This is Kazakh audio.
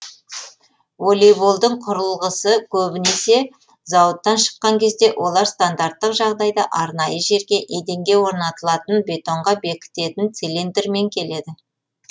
волейболдың құрылғысы көбінесе зауыттан шыққан кезде олар стандарттық жағдайда арнайы жерге еденге орнатылатын бетонға бекітетін цилиндрмен келеді